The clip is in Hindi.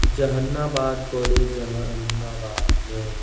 जहानाबाद कॉलेज जहानाबाद में --